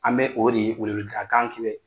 An bɛ o de weleweleka kan kibɛ